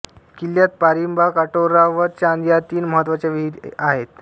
किल्ल्यात पारिबा कटोरा व चांद या तीन महत्त्वाच्या विहिरी आहेत